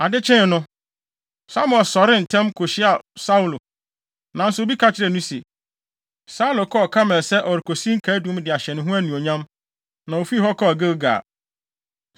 Ade kyee no, Samuel sɔree ntɛm kohyiaa Saulo, nanso obi ka kyerɛɛ no se, “Saulo kɔɔ Karmel sɛ ɔrekosi nkaedum de ahyɛ ne ho anuonyam, na ofii hɔ kɔɔ Gilgal.”